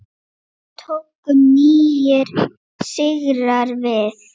Svo tóku nýir sigrar við.